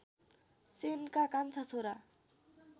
सेनका कान्छा छोरा